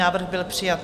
Návrh byl přijat.